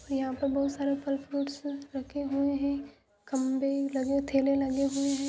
यहां पर बहुत सारे फल फ्रूट्स रखे हुए हैं खम्भे लगे ठेले लगे हुए है।